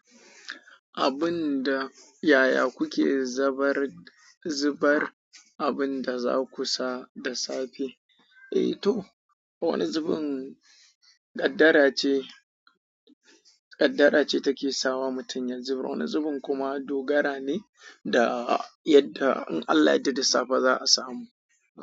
Abun da yaya kuke zaɓar, zubar abun da za ku sa da safe? Eh to, wani zubin ƙaddar ce, ƙaddara ce take sawa mutum ya zubar wani zubin kuma dogara ne da yadda in Allah yarda da safe za a samu.